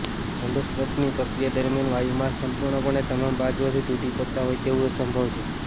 એંડોસ્કોપીની પ્રક્રિયા દરમિયાન વાયુમાર્ગ સંપૂર્ણપણે તમામ બાજુઓથી તૂટી પડતા હોય તેવું સંભવ છે